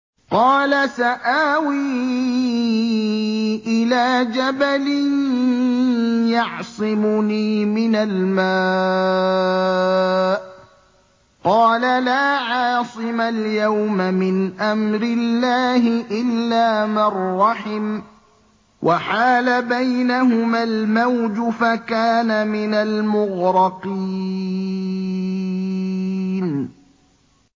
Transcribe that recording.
قَالَ سَآوِي إِلَىٰ جَبَلٍ يَعْصِمُنِي مِنَ الْمَاءِ ۚ قَالَ لَا عَاصِمَ الْيَوْمَ مِنْ أَمْرِ اللَّهِ إِلَّا مَن رَّحِمَ ۚ وَحَالَ بَيْنَهُمَا الْمَوْجُ فَكَانَ مِنَ الْمُغْرَقِينَ